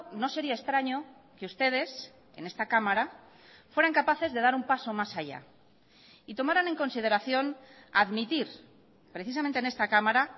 no sería extraño que ustedes en esta cámara fueran capaces de dar un paso más allá y tomaran en consideración admitir precisamente en esta cámara